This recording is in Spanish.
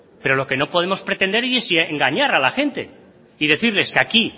pero lo que no podemos pretender es engañar a la gente y decirles que aquí